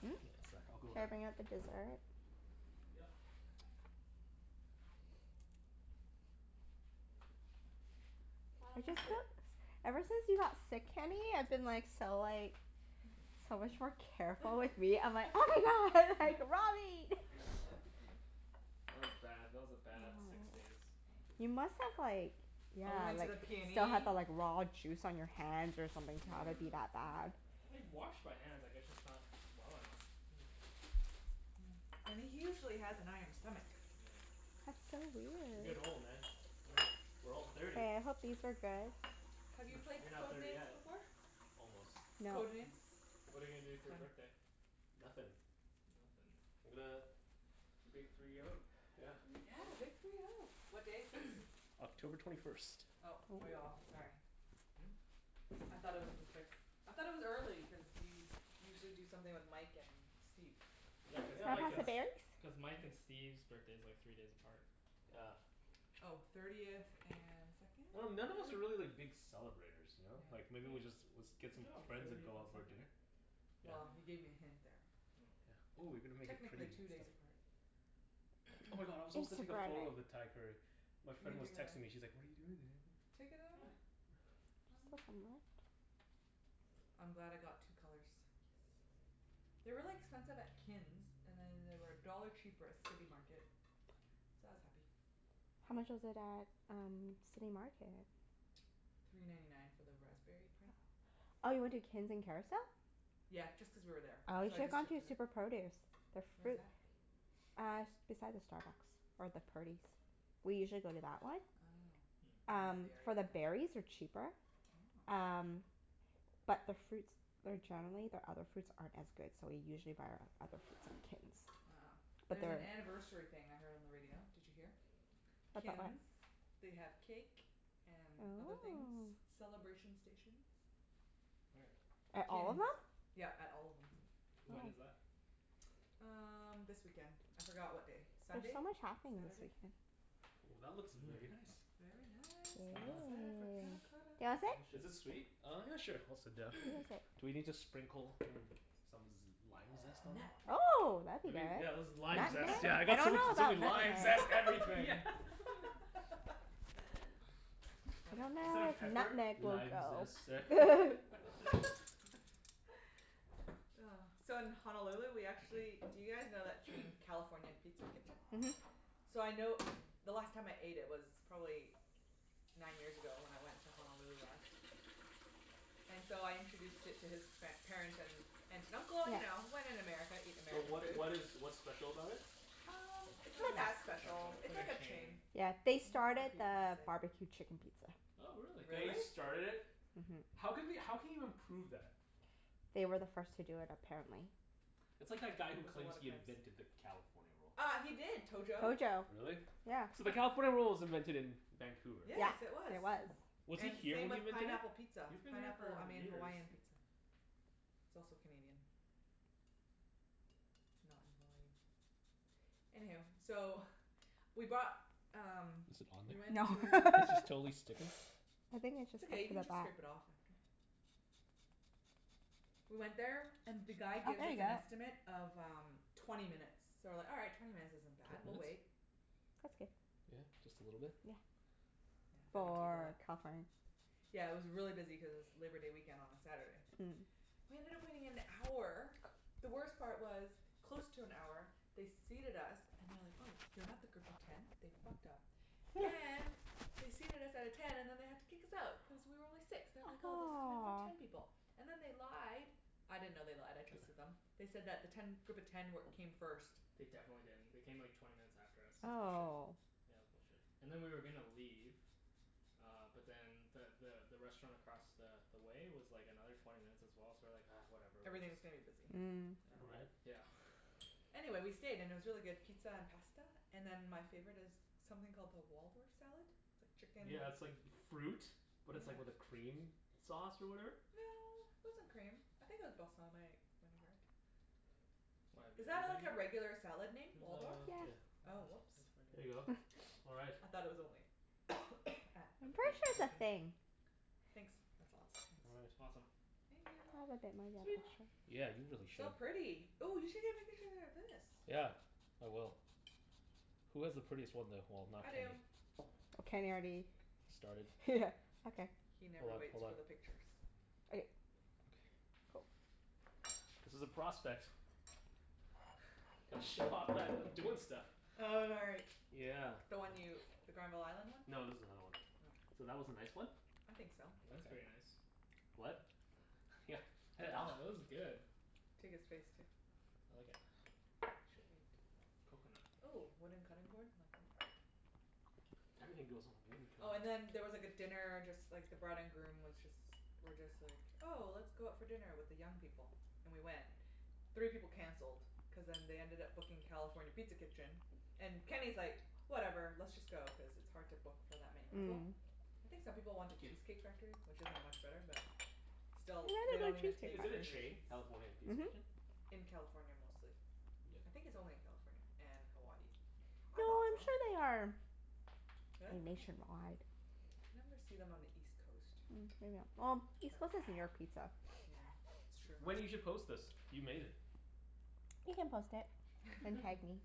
Hmm? One sec. I'll go Should I around. bring out the dessert? Yep. Why I've don't you just sit? felt Ever since you got sick, Kenny, I've been like so like so much more careful with meat. I'm like, "Oh my god, like raw meat." That was bad. That was a bad six Oh. days. You must have like yeah, And we Help. went to like the still have PNE. the like raw juice on your hands or something to have it be Yeah. that bad. I washed my hands. I guess just not well enough. Hmm. And he usually has an iron stomach. Oh yeah. That's so You're weird. getting old, man. Mm, We're all mm. thirty. Hey, I hope these are good. Have you Heh. played You're not Code thirty Names yet. before? Almost. No. Code Names? What are you gonna do It's for your fun. birthday? Nothin'. Nothin'? I'm gonna The big three oh. Yeah. Three Yeah, big oh. three oh. What day is sixth? October twenty first. Oh, Ooh. way off. Sorry. Hmm? I thought it was the sixth. I thought it was early cuz you usually do something with Mike and Steve. Yeah, cuz Can Yeah, I Mike like pass and the a berries? S- cuz Mike and Steve's birthday's like three days apart. Yeah. Oh. Thirtieth and second, I dun- none of us third? are really like big celebrators, ya know? Like Yeah. maybe we just, was, Yeah. get Good some job. friends and Thirtieth go and out for a second. dinner. Well, Yeah. you Yeah. gave me a hint there. Oh. Yeah. Ooh you're gonna make it pretty Technically and two days stuff. apart. Oh my god, I was supposed to take a photo of the Thai curry. My You can friend was texting me, she's like, "What are you doing today?" Take another Yeah. one. Yeah. I'm glad I got two colors. Yes. They're really expensive at Kin's, and then they were a dollar cheaper at City Market. So I was happy. How much was it at um City Market? Three ninety nine for the raspberry Oh. pint. Oh, you went to Kin's in Kerrisdale? Yeah, just cuz we were there. Oh, you So I should have just gone checked to it out. Super Produce. Their Where's fruit that? Uh, s- beside the Starbucks or the Purdy's. We usually go to that one. Oh. Hmm. I don't know Um, the area for the enough. berries are cheaper. Oh. Um, but their fruits they're generally, their other fruits aren't as good, so we usually buy our other fruits at Kin's. Oh. But There's an their anniversary thing I heard on the radio. Did you hear? About what? Kin's. They have cake and other things. Oh. Celebration stations. Where? At At all of Kin's. them? Yep, at all of them. When is Oh. that? Um, this weekend. I forgot what day. There's Sunday? so much happening this Saturday? weekend. Ooh, that looks Mmm. very nice. Very nice. Well I'm done. excited for panna Yeah. cotta. Do you wanna sit? Is it Delicious. sweet? Oh yeah, sure. I'll sit down. You can sit. Do we need to sprinkle, mm, some z- lime zest on there? Nutmeg. Oh, that'd be Maybe, good. yeah that's the lime Nutmeg? zest. Yeah, I I got so much, dunno so many about limes. Lime Nutmeg. zest Yeah. everything! I Funny. Instead dunno of if pepper. nutmeg will "Lime go. zest, sir?" Oh. So, in Honolulu we Thank actually, do you guys know that you. chain, California Pizza Kitchen? Mhm. So I know, the last time I ate it was probably nine years ago, when I went to Honolulu last. And so I introduced it to his par- parents, and aunt and uncle. You Yeah. know, when in America eat So American what food. what is what's special about it? Um, It's it's not not really that special. special. It's It's like like a a chain. chain. Yeah. Can They you not started repeat what I the say? barbecue chicken pizza. Oh, really? Really? They started it? Mhm. How can we how can you even prove that? They were the first to do it, apparently. That's Oh, like that guy who there's a claims lot of he claims. invented the California Roll. Uh, he did. Tojo. Tojo. Really? Yeah. So the California Roll was invented in Vancouver. Yeah, Yes, it was. there was. Hmm. Was he And here same when he with invented pineapple it? pizza. He's been here Pineapple, I for mean years. Hawaiian pizza. It's also Canadian. Not in Hawaii. Anyhoo, so we bought um Is it on we went No. to there? This is totally sticking. I think it's It's just stuck okay. You to can the just back. scrape it off after. We went there and the guy Oh, gives there us ya an go. estimate of um twenty minutes. So we're like, "All right. Twenty minutes isn't bad. Twenty We'll wait." minutes? That's good. Yeah? Just a little bit? Yeah. Yeah, don't need to For eat California? Yeah, it was really busy cuz it's Labor Day weekend on a Saturday. Mm. We ended up waiting an hour. The worst part was, close to an hour they seated us and they're like, "Oh, you're not the group of ten." They fucked up and they seated us at a ten and then they had to kick us out, cuz we were only six. They're like, Ah "Oh, this is meant for ten aw. people." And then they lied. I didn't know they lied. I trusted them. They said that the ten group of ten wer- came first. They definitely didn't. They came like twenty minutes after us. That's bullshit. Oh. Yeah, it was bullshit. And then we were gonna leave uh but then the the the restaurant across the the way was like another twenty minutes as well, so we're like, "Ah, whatever, we're just" Everything's gonna be busy. Mm. Yeah. Right? Yeah. Anyway, we stayed. And it was really good pizza and pasta. And then my favorite is something called the Waldorf salad. It's like chicken Yeah, it's like fruit, but Yeah. it's like with a cream sauce or whatever. No, it wasn't cream. I think it was balsamic vinaigrette. Why, have you Is that heard like a of it? regular salad name? Waldorf? It Yeah. Yes. was Oh, whoops. a There you go. All right. I thought it was only at At I'm the pretty bistro sure it's a kitchen? thing. Thanks. That's lots, All thanks. right. Awesome. Thank I'll you. have a bit more, Sweet. yep, sure. Yeah, you really should. So pretty. Ooh, you should get a pic- picture of this. Yeah, I will. Who has the prettiest one, though? Well, not I Kenny. do. Kenny already Started. Okay. He Hold never up, waits hold for up. the pictures. Okay. Okay. Cool. This is a prospect. Gotta show off that I'm doing stuff. Oh, right. Yeah. The one you, the Granville Island one? No, this is another one. Oh. So, that was a nice one. I think so. That's very Okay. nice. What? Yeah. Oh, this is good. Take his face, too. I like it. Coconut. Ooh, wooden cutting board, like that? Everything goes on the wooden cutting Oh and board. then there was like a dinner, just like the bride and groom was just were just like, 'Oh, let's go out for dinner with the young people." And we went. Three people canceled cuz then they ended up booking California Pizza Kitchen. And Kenny's like, "Whatever, let's just go." Cuz it's hard to book for that many people. Mm. I think some people wanted 'kyou. Cheesecake Factory, which isn't much better but They have still, they don't a even good Cheesecake take Is it a Factory. chain? reservations. California Pizza Mhm. Kitchen? In California, mostly. I Yeah. think it's only in California and Hawaii. I No, thought so. I'm sure they are Really? nationwide. You never see them on the east coast. Mm maybe I'm, well, east coast is New York Pizza. Yeah, it's true. Wenny, you should post this. You made it. You can post it. And tag me.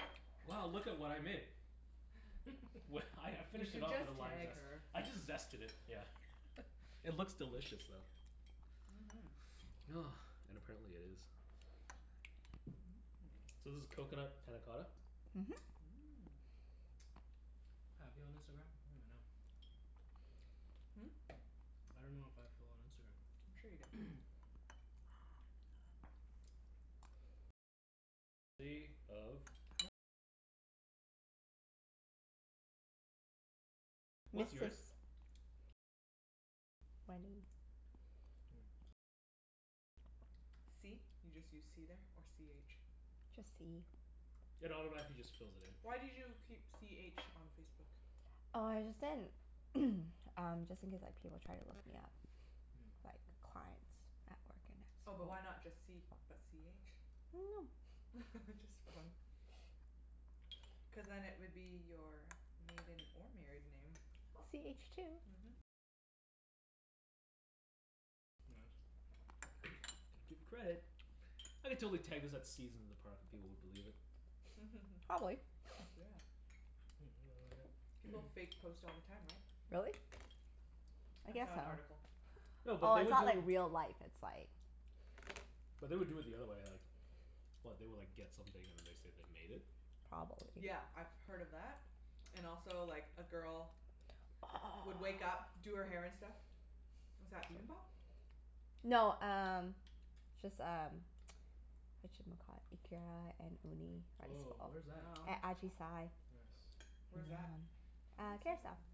Wow, look at what I made. Well, I I You finished can it off just with the lime tag zest. her. I just zested it, yeah. It looks delicious, though. Mhm. And apparently it is. Mmm. So this is coconut panna cotta? Mhm. Mmm. I have you on Instagram? I don't even know. Hmm? I dunno if I have Phil on I'm sure you do. Instagram. What's Mrs. yours? Wenny. C? You just use c there, or c h? Just c. It automatically just fills it in. Why did you keep c h on Facebook? Oh, I just didn't um, just in case like people try to look me up. Mm. Like, clients at work, and Oh, but why that's not just c, but c h? I dunno. Just for fun. Cuz then it would be your maiden or married name. C h two. Mhm. Gotta give credit. I could totally tag this at Seasons in the Park and people would believe it. Probably. Yeah. Mmm, really good. People fake post all the time, right? Really? I I guess saw an so. article. No, but Oh, they it's would do not like real life. It's like but they would do it the other way, like What? They would like get something and then they'd say they made it? Probably. Yeah, I've heard of that and also, like, a girl would wake up, Oh. do her hair and stuff. Is that bibimbap? No, um just um Whatchamacallit? Ikara and uni rice bowl. Woah, where's that? Yum. At Ajisai. Yes. Where's that? I think Uh, I saw that Kerrisdale. one.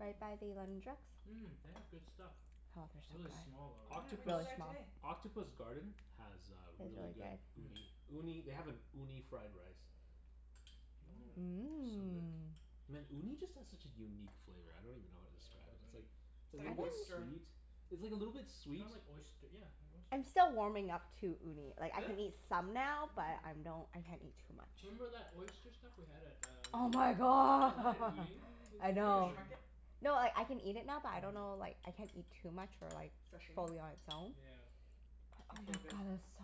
Right by the London Drugs. Mmm, they have good stuff. Oh, they're so Really good. small though, Why didn't right? we Octopus go Really there small. today? Octopus Garden has uh Is really really good good. uni. Hmm. Uni, they have an uni fried rice. Mmm. Woah. So good. Mmm. Man, uni just has such a unique flavor. I don't even know how to Yeah, I describe love it. It's uni. like It's a like little bit oyster. sweet, it's like a little bit It's sweet kinda like oyst- yeah, they're I'm oysters. still warming up to uni. Like, I Really? can eat some now, but Mm. I'm don't, I can't eat too much. Remember that oyster stuff we had at um Oh my Yeah, that had god. Mm. uni. It was I Fish know. amazing. market? No, like I can eat it now but I don't know Mhm. like, I can't eat too much or like Sashimi? fully on its own. Yeah. But oh It's my so god, good. it's so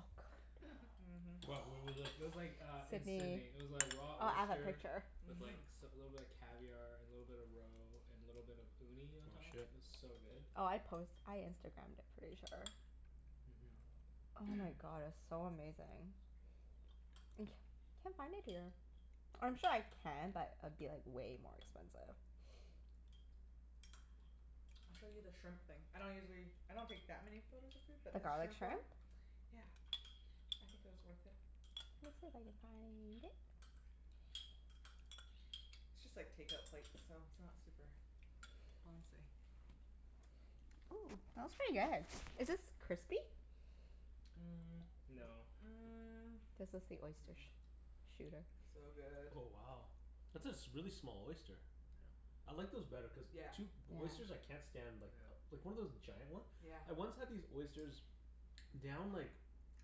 good. Mhm. What? Where was this? It was like uh in Sidney. Sidney. It was like raw Oh, I have a oyster picture. with like Mhm. s- a little bit of caviar and a little bit of roe and a little bit of uni on Aw, top. It shit. was so good. Oh, I post, I Instagramed it, pretty sure. Mhm. Oh my god, it was so amazing. And c- can't find it here. I'm sure I can but it'd be like way more expensive. I'll show you the shrimp thing. I don't usually, I don't take that many photos of food, but The this garlic shrimp one shrimp? Yeah, I think it was worth it. Let me see if I can find it. It's just like take-out plates so it's not super fancy. Ooh, that was pretty good. Is this crispy? Mm, no. Mm. This was the Mm- oyster mm. sh- shooter. So good. Oh, wow. That's a s- a really small oyster. Yeah. I like those better cuz Yeah. two, oysters Yeah. I can't stand like Yeah. like one of those giant one? Yeah. I once had these oysters down like,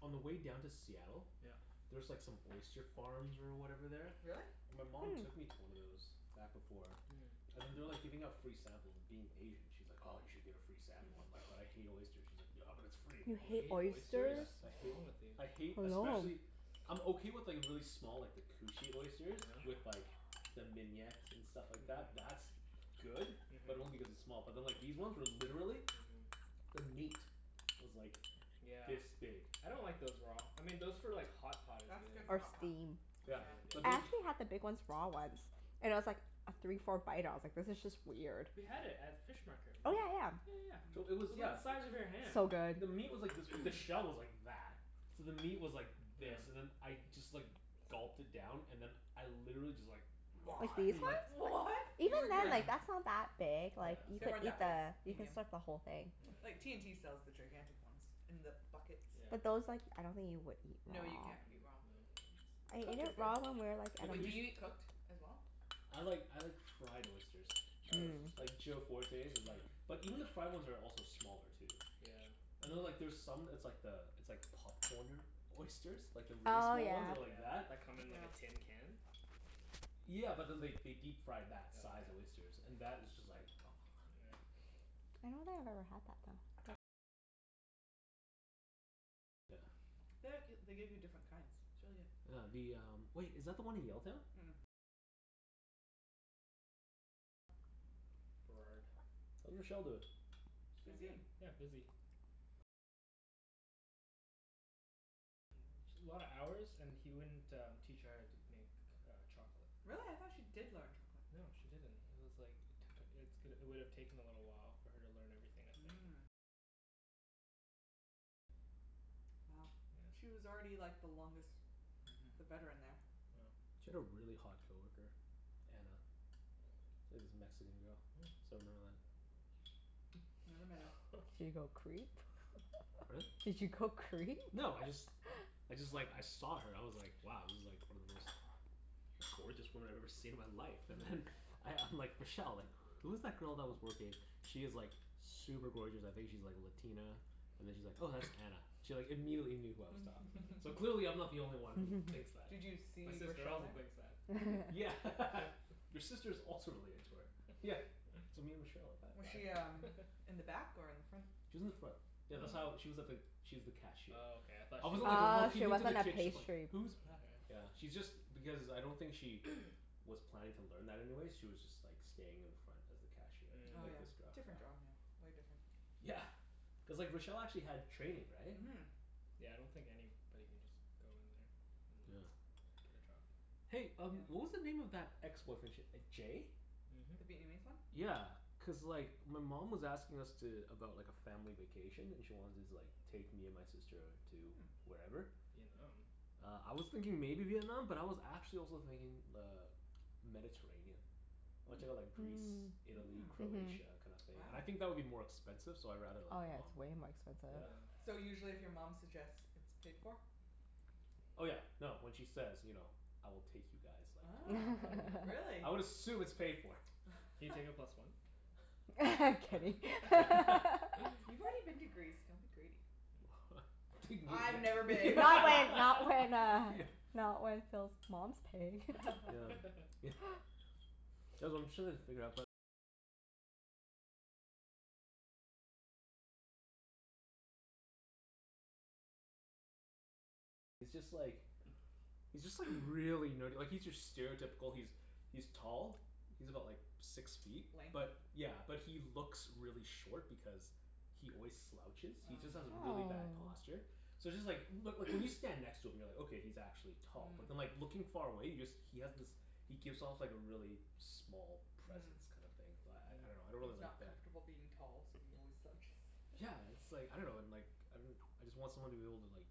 on the way down to Seattle. Yeah. There's like some oyster farms or whatever there. Really? My mom took Hmm. me to one of those, back before. Hmm. And then they're Mm. like giving out free samples, and being Asian she's like, "Oh, you should get a free sample." I'm like, "But I hate oysters." She's like, "Yeah, but it's free." You You hate hate oysters? Yeah, oysters? I What's hate, wrong with you? I hate, I know. especially I'm okay with like really small, like the cushy Yeah? oysters. With like the mignonette and stuff like that. That's good. Mhm. But only Mhm. because it's small. But then like these ones were literally Mhm. the meat was like Yeah. this big. I don't like those raw. I mean those for like hot pot is That's good. good for Or hot pot. steam. Or Yeah, Yeah. but steamed, I yeah. then actually had the big ones raw once. And I was like af- three four bite ah I was like this is just weird. We had it at fish market, Oh, remember? yeah yeah. Yeah yeah So yeah. it It Mm. was was, the yeah. size of your hand. So good. The meat was like this b- the shell was like that. So the meat was like Yeah. this and then I just like gulped it down. And then I literally just like Like these ones? What? You Even then, regurg- Yeah. like that's not that big. Yeah, Like, you it's They could weren't not eat that that big. big. the you can Medium. suck the whole thing. Like, Yeah yeah. T&T sells the gigantic ones in the buckets. Yeah. But those like, I don't think you would eat No, raw. you Mm, can't eat no. raw. I ate Cooked is it good. raw when we were like The at Wait, do you a cush- eat cooked as well? I like, I like fried oysters. Fried oyster's Mmm. good. Like Joe Fortes' is like Mm. but even the fried ones are also smaller, too. Yeah. And then like Mhm. there's some, it's like the, it's like popcornered oysters. Like the really Oh, small yeah. ones that are like Yeah. that. That come in like Yeah. a tin can? Yeah, but then they they deep fry Oh that size yeah? oysters. And that is just like Right. The g- they give you different kinds. It's really good. Yeah, the um, wait, is that the one in Yaletown? Burrard. How's Rochelle doin'? She's doing Busy. good. Yeah, busy. Sh- a lot of hours and he wouldn't um teach her how to make uh chocolate. Really? I thought she did learn chocolate. No, she didn't. It was like it took, it's g- it would've taken a little while for her to learn everything, I think. Yeah. Mhm. Yeah. She had a really hot coworker. Anna. It was a Mexican girl. I Mm. still remember that. Never met her. Did you go creep? Pardon? Did you go creep? No, I just I just like, I saw her. I was like, wow, this is like one of the most gorgeous women I've ever seen in my life. And then I I'm like, "Rochelle, like, who is that girl that was working?" "She is like super gorgeous. I think she's like Latina?" And then she's like, "Oh, that's Anna." She like immediately knew who I was talking about. So clearly I'm not the only one who thinks that. Did you My see sister Rochelle also there? thinks that. Yeah. Your sister's also really into her. Yeah. So me and Rochelle Was have she had um in the back or in the front? She was in the front. Oh. Yeah, Oh, that's how, Mm. she was at the, she was the cashier. okay, I thought I she wasn't like worked at Mm. Oh, a she looking into the wasn't a kitchen like Oh, pastry yeah "Who's back" yeah. Yeah, she's just, because I don't think she was planning to learn that anyway. She was just like staying in the front as the cashier. Oh Like yeah. Mm. Different job, yeah. Way different. Yeah. Cuz like Rochelle actually had training, right? Mhm. Yeah, I don't think anybody can just go in there. And Yeah. yeah, get a job. Hey um Yeah. what was the name of that ex-boyfriend? Sh- uh Jay? The Mhm. Vietnamese one? Yeah, cuz like my mom was asking us to, about like a family vacation and she wanted to like take me and my sister to Mm. wherever. Vietnam? Uh, I was thinking maybe Vietnam, but I was actually also thinking uh Mediterranean. I wanna check out Hmm. like Greece, Mm. Italy, Mm. Mhm. Croatia, kinda thing. And Wow. I think that would be more expensive, so I'd rather go Oh, with yeah, it's mom. way more expensive. Yeah. Yeah. So usually if your mom suggests, it's paid for? Oh yeah, no, when she says, you know "I will take you guys," like, Ah, yeah, really? I would assume it's paid for. Can you take a plus one? Kenny. You've already been to Greece. Don't be greedy. Take me. I've never I been. went not when uh not when Phil's mom's paying. Yeah. Yeah. he's just like really nerdy. Like he's your stereotypical, he's he's tall. He's about like six feet. Lanky? But yeah, but he looks really short because he always slouches. He just Oh. has Mm. really bad Oh. posture. So it's just like, but like when you stand next to him you're like, "Okay, he's actually tall." But then Mm. like looking far away, he just, he has this he gives off like a really small Mm. presence kinda thing. So I I dunno, Mm. I don't He's really like not that. comfortable being tall so he always slouches. Yeah, it's like, I dunno and like, I I just want someone to be able to like